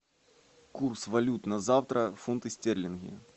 курс валют на завтра фунты стерлинги